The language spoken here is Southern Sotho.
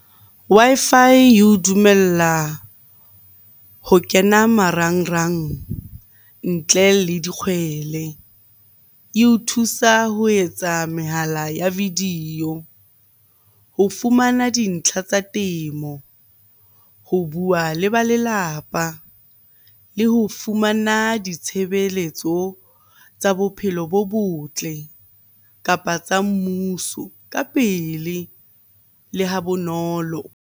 Wi-Fi eo dumella ho kena marangrang ntle le dikgwele. Eo thusa ho etsa mehala ya video ho fumana dintlha tsa temo, ho bua le ba lelapa le ho fumana ditshebeletso tsa bophelo bo botle, kapa tsa mmuso ka pele le ha bonolo.